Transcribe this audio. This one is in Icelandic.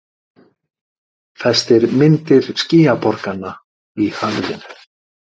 Festir myndir skýjaborganna í höfðinu.